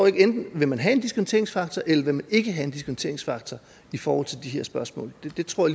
ikke vil man have en diskonteringsfaktor eller vil man ikke have en diskonteringsfaktor i forhold til de her spørgsmål det tror